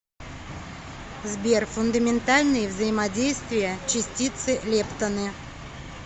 сбер фундаментальные взаимодействия частицы лептоны